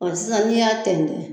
Ɔ sisan ni y'a tɛn tɛn